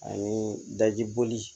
Ani dajiboli